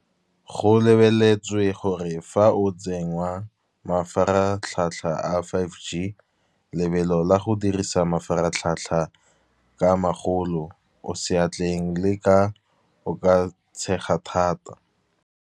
Go lebeletswe gore fa o tsenngwa mafaratlhatlha a five g, lebelo la go dirisa mafaratlhatlha ka magolo o seatleng le ka o ka tshega thata.